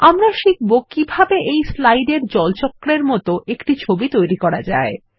আমরা শিখব কিভাবে এই স্লাইড এর জল চক্রের মত একটি ছবি তৈরি করা যায়